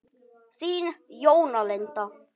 Þín Jóna Linda.